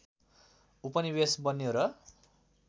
उपनिवेश बन्यो र